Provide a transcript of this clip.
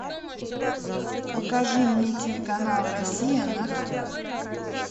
покажи мне телеканал россия на тв